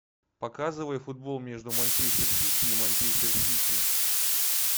показывай футбол между манчестер сити и манчестер сити